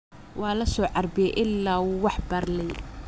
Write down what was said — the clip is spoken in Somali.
Walasoharbiye ila wuu wax barley.